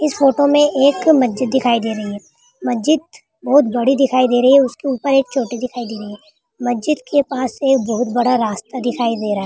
इस फोटो में एक मस्जिद दिखाई दे रही है मस्जिद बहुत बड़ी दिखाई दे रही है उसके ऊपर एक छोटी दिखाई दे रही है मस्जिद के पास एक बहुत बड़ा रास्ता दिखाई दे रहा है।